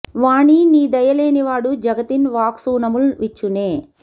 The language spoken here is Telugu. వాణీ నీ దయ లేని నాడు జగతిన్ వాక్సూనముల్ విచ్చునే